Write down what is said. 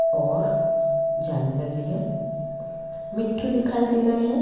और जाली लगी है मिट्ठू दिखाई दे रहे है।